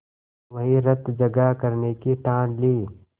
वहीं रतजगा करने की ठान ली